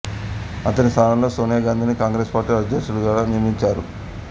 అతని స్థానంలో సోనియా గాంధీని కాంగ్రెస్ పార్టీ అధ్యక్షురాలిగా నియమించారు